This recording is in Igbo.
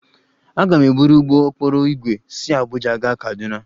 Aga m eburu ụgbọ okporo ígwè si Abuja gaa Kaduna